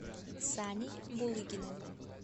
саней булыгиным